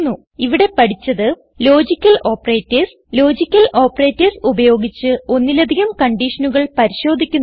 ഇവിടെ പഠിച്ചത് logical operators logical operators ഉപയോഗിച്ച് ഒന്നിലധികം കൺഡിഷനുകൾ പരിശോധിക്കുന്നത്